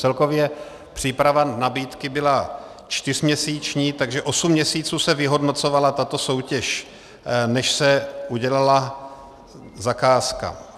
Celkově příprava nabídky byla čtyřměsíční, takže osm měsíců se vyhodnocovala tato soutěž, než se udělala zakázka.